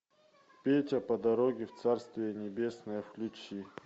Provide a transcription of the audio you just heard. петя по дороге в царствие небесное включи